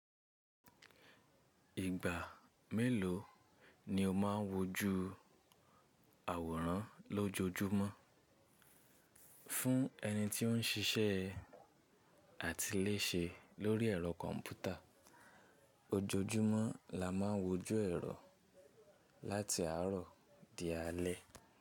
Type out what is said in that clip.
Ìgbà mélòó ni o máa ń wojú àwòrán lójoojúmọ́? Fún ẹni tí ó ń ṣiṣẹ́ àtiléṣe lórí ẹ̀rọ kọ̀m̀pútà, ojoojúmọ́ la máa ń wojú ẹ̀rọ láti àárọ̀ di alẹ́.